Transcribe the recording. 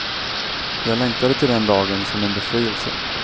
Jag längtade till den dagen som en befrielse.